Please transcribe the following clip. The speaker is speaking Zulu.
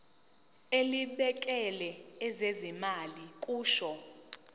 elibhekele ezezimali kusho